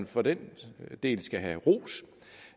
for den del skal have ros